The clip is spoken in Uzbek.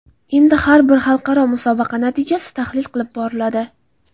Endi har bir xalqaro musobaqa natijasi tahlil qilib boriladi.